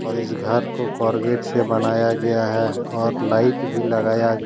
और इस घर को कोरगेट से बनाया गया है और लाइट भी लगाया--